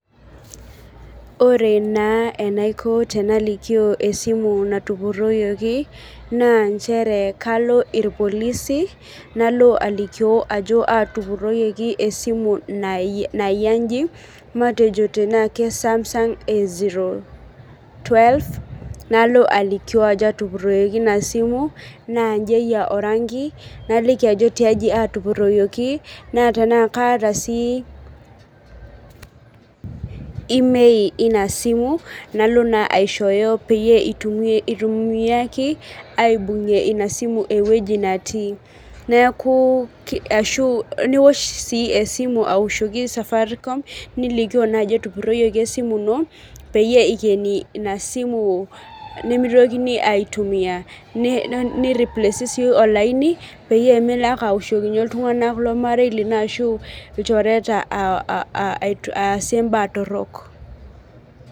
Ore naa enaiko tenalikio esimu natupuroyioki, naa nchere kalo irpolisi nalo alikio ajo, atupuroyioki esimu nayia ijin. Matejo tenaa kee Samsung A zero twelve nalo aliki ajo atupuroyioki ina simu naa ijin eyia oranki naliki ajo tiaji atupuroyioki naa tena kataa sii IMEI ina simu nalo naa aishoyo peyie itumiaki abung'ie ina simu eweji naati. Neeku ashu niosh sii esimu aoshoki safaricom nilikioo naa ajo etupuroyioki esimu ino peyie ikeni ina simu nemitokini atumia. Ni replace sii olainj peyie melo ake aoshokinye iltung'ana lomarei linyi ashu ilchoreta aa asie ibaa torok.